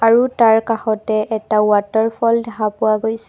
আৰু তাৰ কাষতে এটা ৱাটাৰফল দেখা পোৱা গৈছে।